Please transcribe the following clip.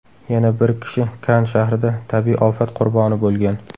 Yana bir kishi Kann shahrida tabiiy ofat qurboni bo‘lgan.